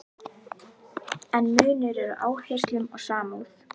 En munur er á áherslum og samúð.